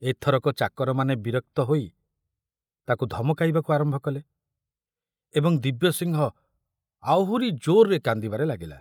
ଏଥରକ ଚାକରମାନେ ବିରକ୍ତ ହୋଇ ତାକୁ ଧମକାଇବାକୁ ଆରମ୍ଭ କଲେ ଏବଂ ଦିବ୍ୟସିଂହ ଆହୁରି ଜୋରରେ କାନ୍ଦିବାରେ ଲାଗିଲା।